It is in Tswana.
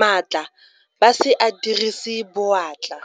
maatla ba se a dirise boatla.